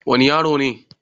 wani yaro ne